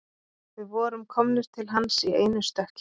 Við vorum komnir til hans í einu stökki